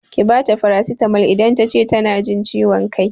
Ki bata farasitamol idan tace tana jin ciwon kai!